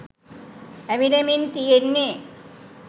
ඇවිලෙමින් තියෙන්නෙ